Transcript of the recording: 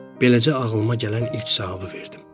Beləcə ağlıma gələn ilk cavabı verdim.